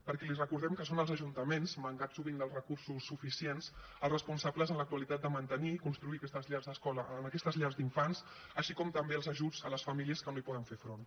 perquè li recordem que són els ajuntaments mancats sovint dels recursos suficients els responsables en l’actualitat de mantenir i construir aquestes llars d’infants així com també els ajuts a les famílies que no hi poden fer front